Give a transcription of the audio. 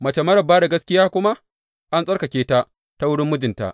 Mace marar ba da gaskiya kuma an tsarkake ta ta wurin mijinta.